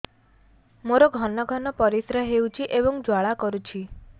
ମୋର ଘନ ଘନ ପରିଶ୍ରା ହେଉଛି ଏବଂ ଜ୍ୱାଳା କରୁଛି